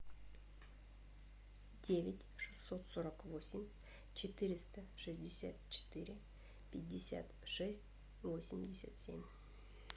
девять шестьсот сорок восемь четыреста шестьдесят четыре пятьдесят шесть восемьдесят семь